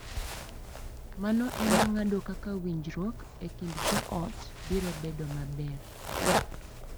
Mano e ma ng’ado kaka winjruok e kind joot biro bedo maber,